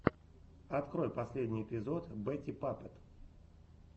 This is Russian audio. открой последний эпизод бэтти паппет